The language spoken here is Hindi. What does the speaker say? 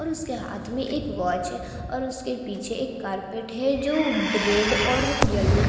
और उसके वाच है और उसके पीछे कारपेट है जो रेड और येलो --